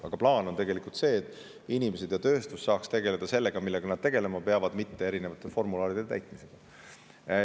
Aga plaan on tegelikult see, et inimesed saaksid tegeleda sellega, millega nad tegelema peavad, mitte erinevate formularide täitmisega.